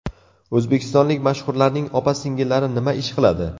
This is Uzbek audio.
O‘zbekistonlik mashhurlarning opa-singillari nima ish qiladi?